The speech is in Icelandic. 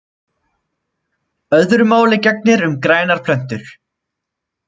Öðru máli gegnir um grænar plöntur.